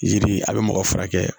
Yiri a bɛ mɔgɔ furakɛ